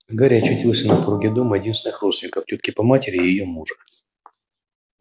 а гарри очутился на пороге дома единственных родственников тётки по матери и её мужа